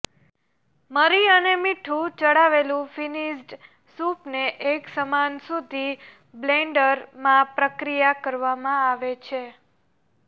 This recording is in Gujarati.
મરી અને મીઠું ચડાવેલું ફિનિશ્ડ સૂપને એકસમાન સુધી બ્લેન્ડરમાં પ્રક્રિયા કરવામાં આવે છે